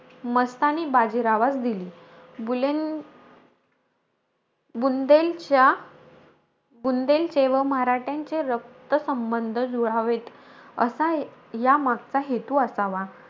मस्तानी बाजीरावास दिली. बुलें बुंदेलच्या बुंदेलचे व मराठ्यांचे रक्तसंबंध जुळावेत, असा यामागचा हेतू असावा.